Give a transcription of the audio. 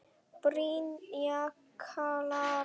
Birna Klara.